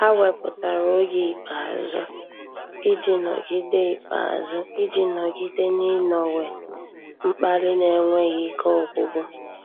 Há wépụ́tara oge ikpeazụ iji nọ́gídé ikpeazụ iji nọ́gídé n’ị́nọ́wé mkpali n’énwéghị́ ike ọ́gwụ́gwụ́.